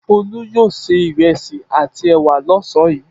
Folú yóò se ìrẹsì àti ẹ̀wà lọ́sàn-án yìí.